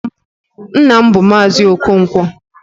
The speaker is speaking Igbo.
Nna m bụ Maazi Okonkwo